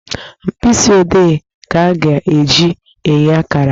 Mkpịsị odee ka a ga-eji enye akara